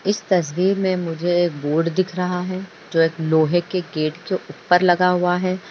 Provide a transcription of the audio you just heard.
इस तस्वीर मे मुझे एक बोर्ड दिख रहा है जो एक लोहे के गेट के ऊपर लगा हुआ है।